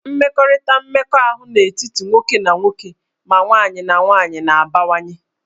Mmekọrịta mmekọahụ n'etiti ndị otu nwoke na nwoke ma nwanyị na nwaanyị na-abawanye